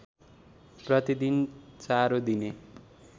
प्रतिदिन चारो दिने